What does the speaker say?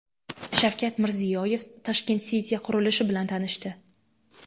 Shavkat Mirziyoyev Tashkent City qurilishi bilan tanishdi.